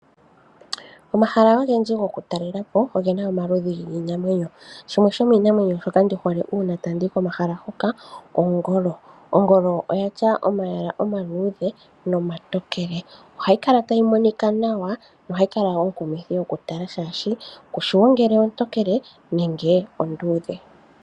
Omahala ogendji go kutalelapo ogena omaludhi giinamwenyo shimwe shomii namwenyo shoka ndihole uuna tandi yi komahala hoka Ongolo, Ongolo oya tya omayala omaludhe nomatookele. Ohayi kala tayi monika nawa oshoka no hayi kala onkumithi okutala shashi kushiwo ngele ontokele nenge ondudhe .